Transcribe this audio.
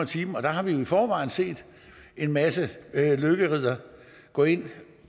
timen der har vi jo i forvejen set en masse lykkeriddere gå ind